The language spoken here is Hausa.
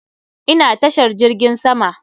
Ina tashar jirgin sama.